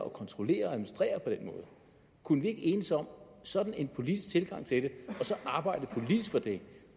at kontrollere og administrere kunne vi ikke enes om sådan en politisk tilgang til det og arbejde politisk for det